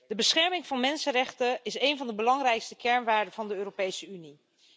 De bescherming van mensenrechten is een van de belangrijkste kernwaarden van de Europese Unie.